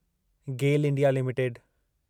Gayle India limited